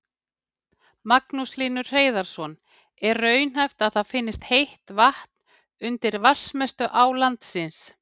Magnús Hlynur Hreiðarsson: Er raunhæft að það finnist heitt vatn undir vatnsmestu á landsins?